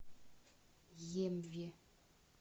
емве